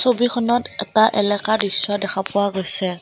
ছবিখনত এটা এলেকা দৃশ্য দেখা পোৱা গৈছে।